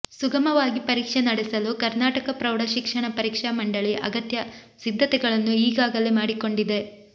ಸುಗಮವಾಗಿ ಪರೀಕ್ಷೆ ನಡೆಸಲು ಕರ್ನಾಟಕ ಪ್ರೌಢಶಿಕ್ಷಣ ಪರೀಕ್ಷಾ ಮಂಡಳಿ ಅಗತ್ಯ ಸಿದ್ಧತೆಗಳನ್ನು ಈಗಾಗಲೇ ಮಾಡಿಕೊಂಡಿದೆ